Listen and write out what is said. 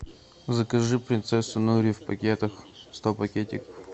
закажи принцессу нури в пакетах сто пакетиков